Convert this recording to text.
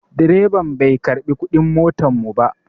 Direban bai karɓi kuɗin motar mu ba.